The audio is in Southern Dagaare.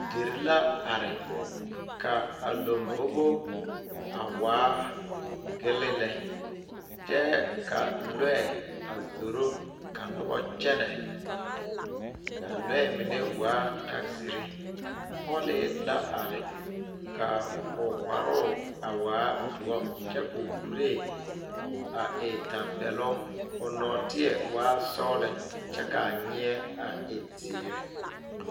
Dire la are kaa lanbobo a waa gele lɛ kyɛ ka lɔɛ a zoro ka noba kyɛne kaa lɔɛ mine waa taziiri pɔle la are ka o kparo a kaa doɔ ka o kuri a e tanpɛloŋ o lɔteɛ waa sɔglɔ kyɛ kaa nyɛ a e ziiri.